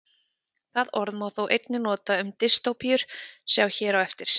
Það orð má þó einnig nota um dystópíur, sjá hér á eftir.